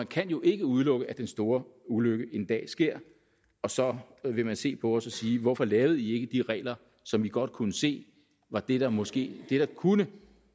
kan jo ikke udelukkes at den store ulykke en dag sker og så vil man se på os og sige hvorfor lavede i ikke de regler som i godt kunne se var det der måske kunne